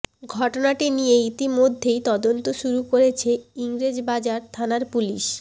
ঘটনাটি নিয়ে ইতিমধ্য়েই তদন্ত শুরু করেছে ইংরেজবাজার থানার পুলিশ